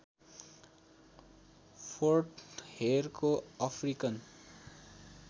फोर्टहेरको African